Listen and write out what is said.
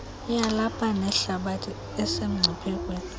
yalapha neyehlabathi esemngciphekweni